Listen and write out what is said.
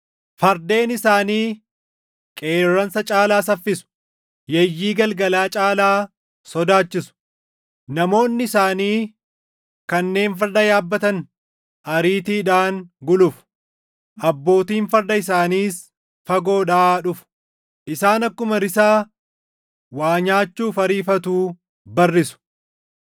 Fardeen isaanii qeerransa caalaa saffisu; yeeyyii galgalaa caalaa sodaachisu. Namoonni isaanii kanneen farda yaabbatan // ariitiidhaan gulufu; abbootiin farda isaaniis fagoodhaa dhufu. Isaan akkuma risaa waa nyaachuuf ariifatuu barrisu;